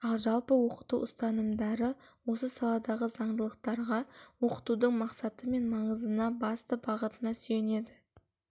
ал жалпы оқыту ұстанымдары осы саладағы заңдылықтарға оқытудың мақсаты мен маңызына басты бағытына сүйенеді